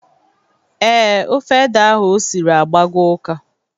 Ee, Ofe ede ahụ osiri agbago ụka.